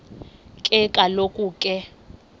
ke kaloku ke